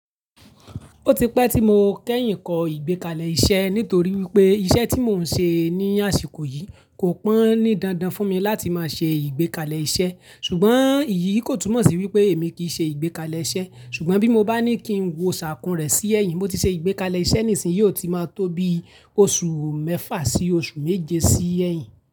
Ó ti pẹ́ tí mo kẹ́yìn kọ ìgbékalẹ̀ iṣẹ́ nítorí wípé iṣẹ́ tí mò ń ṣe ní àsìkò yìí kò pọn ní dandan fún mi láti máa ṣe ìgbékalẹ̀ iṣẹ́. Ṣùgbọ́n èyí kò túmọ̀ sí wípé èmi kìí ṣe ìgbékalẹ̀ iṣẹ́. Ṣùgbọ́n bí mo bá ní kí ń wọ ṣàkún rẹ̀ sí ẹ̀yìn, mo ti ṣe ìgbékalẹ̀ iṣẹ́ nísìnyí, ó ti máa tó bí oṣù mẹ́fà sí oṣù méje sí ẹ̀yìn.